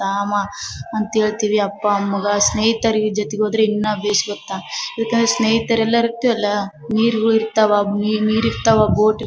ತಾಮ ಅಂತ್ ಏಳ್ತಿವಿ ಅಪ್ಪಾ ಅಮ್ಮಗ ಸ್ನೇಹಿತರಿ ಜತಿಗೋದ್ರೆ ಇನ್ನಾ ಬೆಸ್ ಗೊತ್ತಾ ಬಿಕಾಸ್ ಸ್ನೇಹಿತರೆಲ್ಲರಿರ್ತಿವಲ್ಲಾ ನೀರ್ಗುಳ್ ಇರ್ತವ ನೀರ್ ನೀರ್ ಇರ್ತವ ಬೋಟ್ --